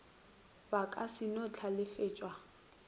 ba ka se no hlalefetša